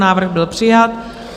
Návrh byl přijat.